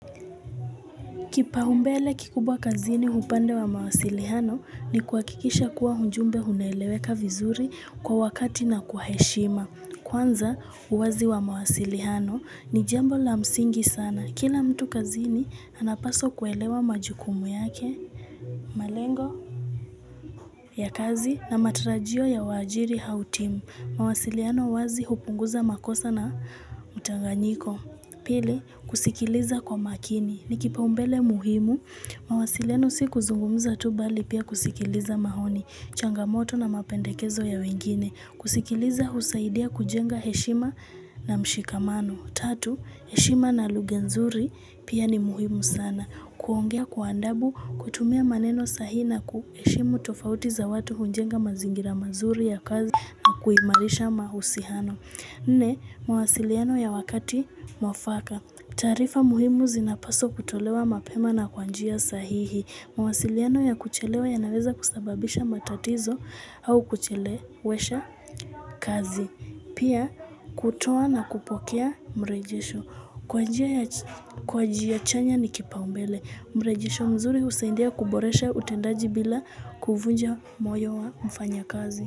Kipaumbele kikubwa kazini upande wa mawasiliano ni kuhakikisha kuwa ujumbe unaeleweka vizuri kwa wakati na kwa heshima. Kwanza uwazi wa mawasiliano ni jambo la msingi sana. Kila mtu kazini anapaswa kuelewa majukumu yake. Malengo ya kazi na matarajio ya waajiri au timu. Mawasiliano wazi hupunguza makosa na utanganyiko. Pili, kusikiliza kwa makini. Ni kipaumbele muhimu. Mawasiliano si kuzungumza tu bali pia kusikiliza maoni, changamoto na mapendekezo ya wengine. Kusikiliza husaidia kujenga heshima na mshikamano. Tatu, heshima na lugha nzuri pia ni muhimu sana. Kuongea kwa andabu, kutumia maneno sahihi na kuheshimu tofauti za watu hujenga mazingira mazuri ya kazi kuimarisha mahusiano. Nne, mawasiliano ya wakati mwafaka. Taarifa muhimu zinapaswa kutolewa mapema na kwa njia sahihi. Mawasiliano ya kuchelewa yanaweza kusababisha matatizo au kuchelewesha kazi. Pia kutoa na kupokea mrejesho. Kwa njia chanya ni kipaumbele. Mrejesho mzuri husaindia kuboresha utendaji bila kuvunja moyo wa mfanyakazi.